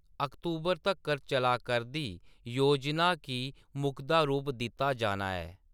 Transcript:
अक्तूबर तक्कर चला करदी योजना गी मुकदा रूप दित्ता जाना ऐ।